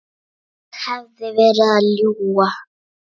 Ég hefði verið að ljúga.